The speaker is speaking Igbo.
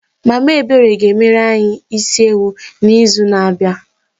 Mama Ebere ga-emere anyị isi ewu n'izu na-abịa.